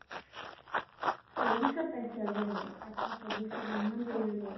চল্লিছত পাইছো আমি, আঠ্টা চল্লিছত । ইমান দেৰি হৈ গল।